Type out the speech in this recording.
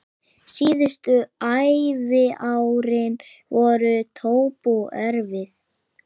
Síðustu æviárin voru Tobbu erfið.